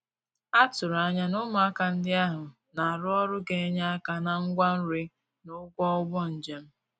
A tụ̀rụ̀ ànyà na ụmụàkà ndí ahụ̀ na-arụ́ ọrụ gā-ényè aka na ngwá nri na ụ̀gwọ̀ ùgbò njem.